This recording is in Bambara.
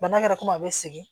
Bana kɛra komi a bɛ segin